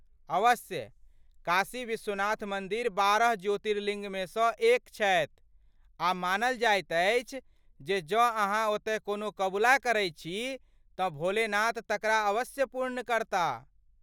अवश्य, काशी विश्वनाथ मन्दिर बारह ज्योतिर्लिंगमे सँ एक छथि, आ मानल जाइत अछि जे जँ अहाँ ओतए कोनो कबुला करै छी तँ भोलेनाथ तकरा अवश्य पूर्ण करता!